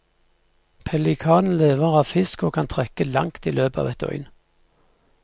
Pelikanen lever av fisk og kan trekke langt i løpet av et døgn.